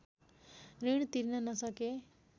ऋण तिर्न नसके